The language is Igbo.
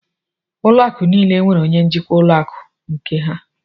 Ụlọ akụ niile nwèrè onye njikwa ụlọ akụ nke ha